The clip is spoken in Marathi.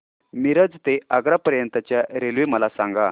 मिरज ते आग्रा पर्यंत च्या रेल्वे मला सांगा